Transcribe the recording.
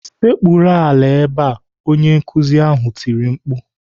"sekpuru ala ebe a!" Onye nkuzi ahụ tiri mkpu.